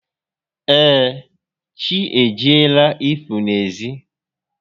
Ee, chi ejiela ị pụ n'ezi